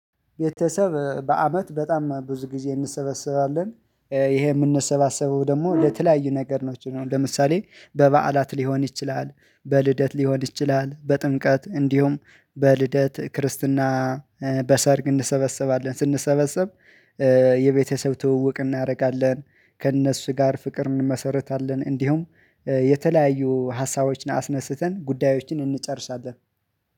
ቤተሰብ በአመት በጣም ብዙ ጊዜ እንሰበስባለን ይሄ የምንሰባሰበው ደግሞ ለተለያዩ ነገሮች ነው። ለምሳሌ በበዓላት ሊሆን ይችላል በልደት ሊሆን ይችላል በጥምቀት እንዲሁም በልደት ክርስትና በሰርግ እንሰበሰባለን። ስንሰበሰብ የቤተሰብ ትውውቅ እናደርጋለን። ከእነሱ ጋር ፍቅር እንመሰርታለን። እንዲሁም የተለያዩ ሀሳቦችን አስነስተን ጉዳዮችን እንጨርሳለን።